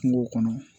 Kungo kɔnɔ